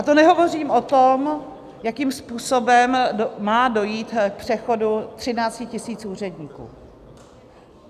A to nehovořím o tom, jakým způsobem má dojít k přechodu 13 000 úředníků.